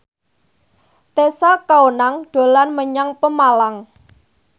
Tessa Kaunang dolan menyang Pemalang